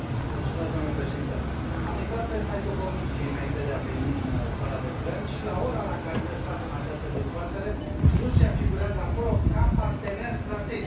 Domnule președinte, am intrat pe site ul Comisiei înainte de a veni în sala de plen și, la ora la care noi facem această dezbatere, Rusia figurează acolo ca partener strategic.